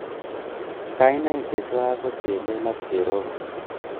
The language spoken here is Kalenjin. Kainaik chechwak ko chelel ak cherobon